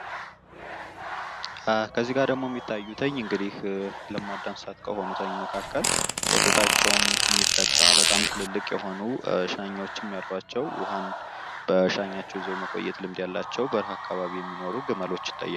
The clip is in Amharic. ከዚጋ ደሞ የሚታዩትኝ እንግዲህ ለማዳት እንስሳት ከሆኑ መካከል ወተቸውም የሚጠጣ በጣም ትልልቅ የሆኑ ሻኛወችም ያሏቸው ውሃን በሻኛቸው ይዘው መቆየት ልምድ ያላቸው በርሀ አካባቢ የሚኖሩ ግመሎች ይታያሉ።